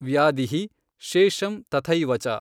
ವ್ಯಾಧಿಃ, ಶೇಷಮ್ ತಥೈವಚ.